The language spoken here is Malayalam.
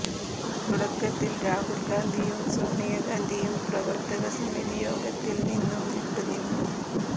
തുടക്കത്തിൽ രാഹുൽ ഗാന്ധിയും സോണിയാ ഗാന്ധിയും പ്രവർത്തക സമിതി യോഗത്തിൽ നിന്നും വിട്ടുനിന്നു